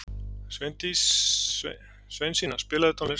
Sveinsína, spilaðu tónlist.